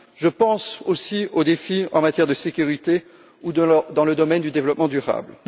Je pense aussi aux défis en matière de sécurité ou dans le domaine du développement durable.